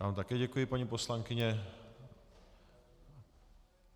Já vám také děkuji, paní poslankyně.